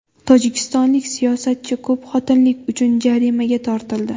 Tojikistonlik siyosatchi ko‘pxotinlilik uchun jarimaga tortildi.